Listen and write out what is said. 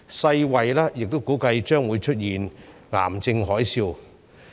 世衞亦估計將會出現癌症海嘯。